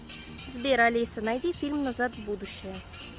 сбер алиса найди фильм назад в будущее